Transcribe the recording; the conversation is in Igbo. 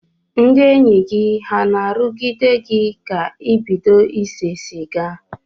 Ndị enyi gị ha na-arụgide ka ịbido ise siga?